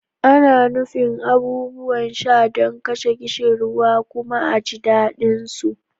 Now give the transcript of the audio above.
Ana nufin abubuwan sha don kashe ƙishirwa kuma a ji daɗinsu.